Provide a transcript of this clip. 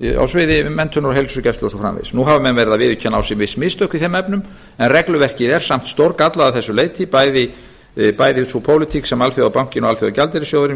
á sviði menntunar heilsugæslu og svo framvegis nú hafa menn verið að viðurkenna á sig viss mistök í þeim efnum en regluverkið er samt stórgallað að þessu leyti bæði sú pólitík sem alþjóðabankinn og alþjóðagjaldeyrissjóðurinn